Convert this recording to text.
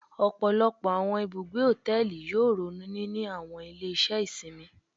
Ọpọlọpọ awọn ibugbe hotẹẹli yoo ronu nini awọn ile-iṣẹ isinmi